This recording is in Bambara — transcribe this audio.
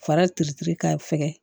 Farati k'a fɛgɛn